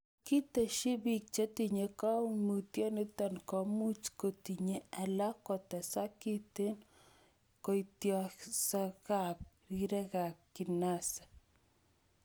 Ketesyi, biik chetinye koimutioniton komuch kotiny alan kotesak kiten koitosiekab rirekab kinase.